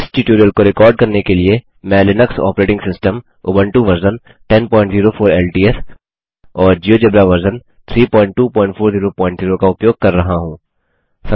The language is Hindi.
इस ट्यूटोरियल को रिकॉर्ड करने के लिए मैं Linux operating system Ubuntu version 1004 LTS और जियोजेब्रा वर्जन 32400 का उपयोग कर रहा हूँ